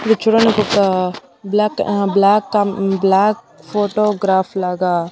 ఇది చూడ్డానికి ఒక బ్లాక్ బ్లాక్ బ్లాక్ ఫొటోగ్రాఫ్ లాగా.